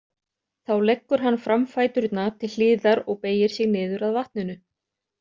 Þá leggur hann framfæturna til hliðar og beygir sig niður að vatninu.